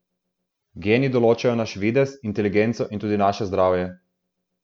Geni določajo naš videz, inteligenco in tudi naše zdravje.